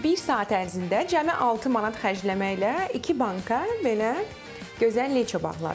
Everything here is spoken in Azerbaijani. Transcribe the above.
Bir saat ərzində cəmi 6 manat xərcləməklə iki banka belə gözəl leço bağladım.